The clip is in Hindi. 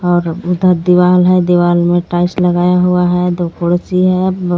और उधर दिवाल है दीवाल मे टाइल्स लगाया हुआ है दो खुड़सी है ब --